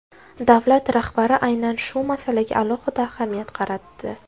Davlat rahbari aynan shu masalaga alohida ahamiyat qaratdi.